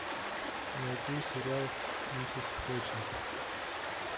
найти сериал миссис флетчер